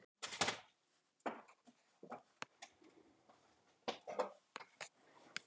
Um leið og Lára frétti þetta pantaði hún einkaflugvél og flaug til Reykjavíkur.